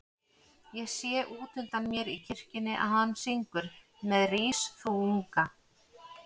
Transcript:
Ég sé útundan mér í kirkjunni að hann syngur með Rís þú unga